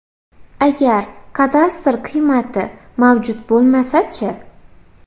Agar kadastr qiymati mavjud bo‘lmasa-chi?